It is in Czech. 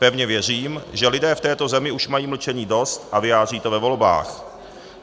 Pevně věřím, že lidé v této zemi už mají mlčení dost a vyjádří to ve volbách.